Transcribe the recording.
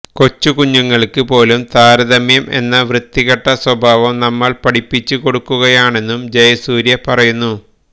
കൊച്ചുകുഞ്ഞുങ്ങള്ക്ക് പോലും താരതമ്യം എന്ന ആ വൃത്തികെട്ട സ്വഭാവം നമ്മള് പഠിപ്പിച്ച് കൊടുക്കുകയാണെന്നും ജയസൂര്യ പറയുന്നു